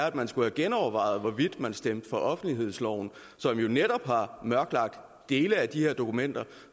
at man skulle genoverveje hvorvidt man stemt for offentlighedsloven som jo netop har mørkelagt dele af de her dokumenter